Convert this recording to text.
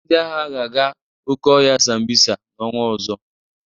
Ndị agha ga-aga oke ọhịa Sambisa n'ọnwa ọzọ.